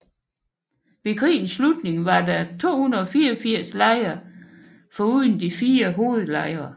Ved krigens slutning var der 284 lejre foruden de fire hovedlejre